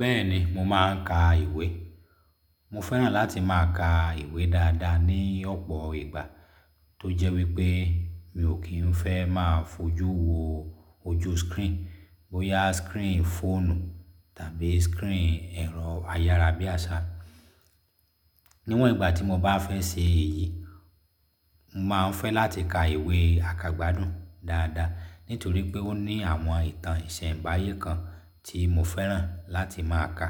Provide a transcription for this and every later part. Bẹ́ẹ̀ni, mo máà ń ka ìwé. Mo fẹ́ràn láti máa ka ìwé dáadáa ní ọ̀pọ̀ ìgbà, tó jẹ́ wípé mi ò kí ń fẹ́ máa fojú wo ojú screen, bóyá screen fóònù tàbí screen ẹ̀rọ ayárabíàṣá. Níwọ̀n ìgbà tí mo bá fẹ́ ṣe èyí, n máa ń fẹ́ láti ka ìwé àkàgbádùn dáadáa, nítorí pé ó ní àwọn ìtàn ìsẹ̀nbáyé kan tí mo fẹ́ràn láti máa ka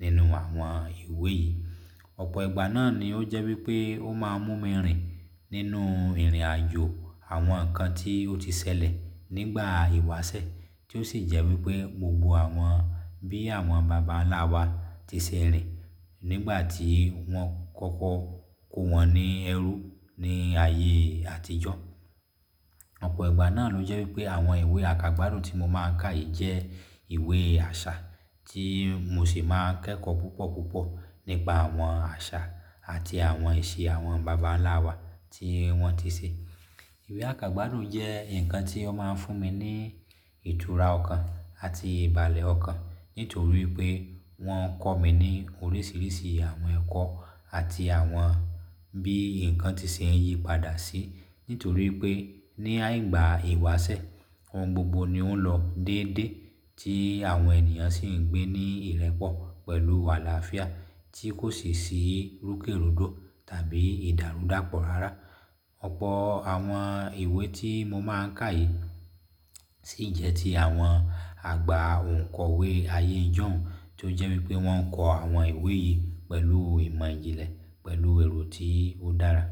nínú àwọn ìwé yìí. Ọ̀pọ̀ ìgbà náà ni ó jẹ́ wípé ó máa ń mú mi rìn nínú ìrìnàjò àwọn ǹnkan tí ó ti ṣẹlẹ̀ nígbà ìwásẹ̀, tí ó sì jẹ́ wípé gbogbo àwọn bí àwọn bàbá ńlá wa ti ṣe rìn nígbà tí wọ́n kọ́kọ́ kó wọn ní ẹrú ní ayé àtijọ́. Ọ̀pọ̀ ìgbà náà ló jẹ́ wípé àwọn ìwé àkàgbádùn tí mo máa ń ka yìí jẹ́ ìwé àṣà tí mo sì máa kẹ́kọ̀ọ́ púpọ̀ púpọ̀ nípa àwọn àṣà àti àwọn ìṣe àwọn bàbá ńlá wa tí wọ́n ti ṣe. Ìwé àkàgbádùn yi jẹ́ ǹnkan tí ó máa ń fún mi ní ìtura ọ̀kan àti ìbàlẹ̀ ọ̀kan ítorí i pé wọ́n kọ́ mi ní oríṣiríṣi àwọn ẹ̀kọ́ àti àwọn bí ǹnkan ti ṣe ń yípadà sí ítorí i pé ní àìgbà ìwáṣẹ̀, ohun gbogbo ni ó ń lọ déédéé tí àwọn ènìyàn sì ń gbé ní ìrẹ́pọ̀ pẹ̀lú álàáfía tí kò sì ṣí rúkèrúdò tàbí ìdàrúdàpọ̀ rárá. Ọ̀pọ̀ àwọn ìwé tí mo máa ń ka yìí sì jẹ́ ti àwọn àgbà òǹkọ̀wé ayé ìjọ̀ún tó jẹ́ wípé wọ́n ń kọ àwọn ìwé yìí pẹ̀lú ìmọ̀ ìjìnlẹ̀ pẹ̀lú èrò tí ó dára.